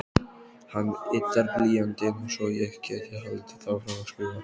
Hann yddar blýantinn svo ég geti haldið áfram að skrifa.